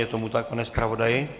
Je tomu tak, pane zpravodaji?